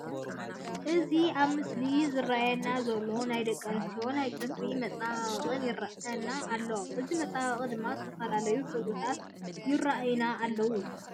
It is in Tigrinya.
እዚ ኣብ ምስሊ ዝረአየና ዘሎ ናይ ደቂ ኣነስትዮ ናይ ፅፍሪ መፀባበቂ ይረየና ኣሎ። እዚ መፀባበቂ ድማ ዝተፈላለዩ ሕብርታት ይረአዩና ኣለዉ።